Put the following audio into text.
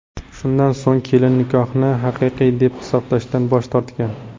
Shundan so‘ng kelin nikohni haqiqiy deb hisoblashdan bosh tortgan.